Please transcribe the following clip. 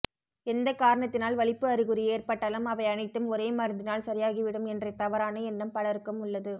எந்த காரணத்தினால் வலிப்பு அறிகுறி ஏற்பட்டாலும் அவை அனைத்தும் ஒரே மருந்தினால் சரியாகிவிடும் என்ற தவறான எண்ணம் பலருக்கும் உள்ளது